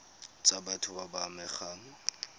tsa batho ba ba amegang